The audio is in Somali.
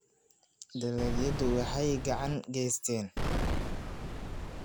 Dalagyadu waxay gacan ka geystaan ??ilaalinta noolaha.